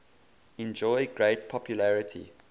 enjoy great popularity